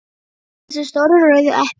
að bíta í þessi stóru rauðu epli.